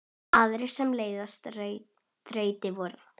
Aðrir sem leystu þrautir voru